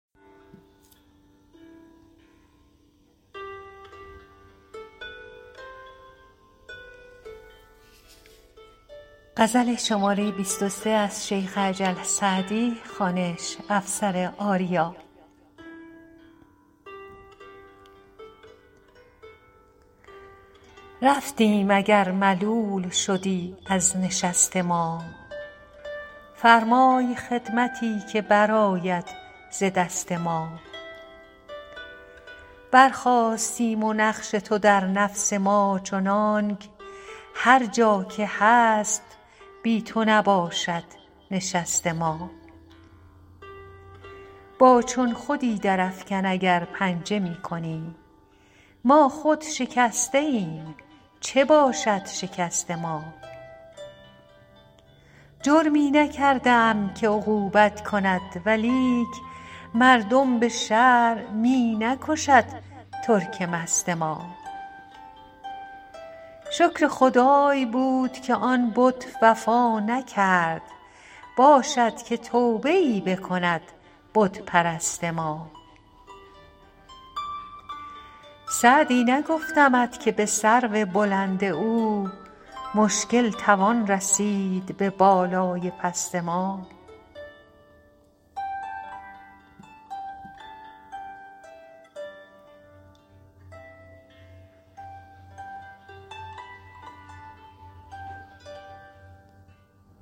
رفتیم اگر ملول شدی از نشست ما فرمای خدمتی که برآید ز دست ما برخاستیم و نقش تو در نفس ما چنانک هر جا که هست بی تو نباشد نشست ما با چون خودی درافکن اگر پنجه می کنی ما خود شکسته ایم چه باشد شکست ما جرمی نکرده ام که عقوبت کند ولیک مردم به شرع می نکشد ترک مست ما شکر خدای بود که آن بت وفا نکرد باشد که توبه ای بکند بت پرست ما سعدی نگفتمت که به سرو بلند او مشکل توان رسید به بالای پست ما